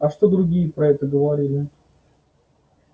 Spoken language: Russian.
а что другие про это говорили